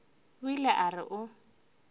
o ile a re o